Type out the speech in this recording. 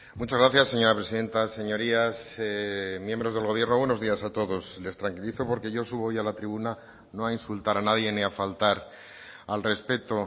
muchas gracias señora presidenta señorías miembros del gobierno buenos días a todos les tranquilizo porque yo subo hoy a la tribuna no a insultar a nadie ni a faltar al respeto